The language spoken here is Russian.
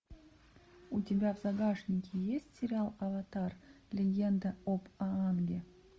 у тебя в загашнике есть сериал аватар легенда об аанге